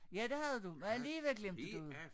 Ja det havde du og alligevel glemte du noget